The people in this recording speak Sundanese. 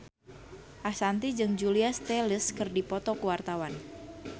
Ashanti jeung Julia Stiles keur dipoto ku wartawan